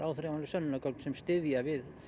sönnunargögn sem styðja við